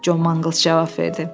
Con Manqls cavab verdi.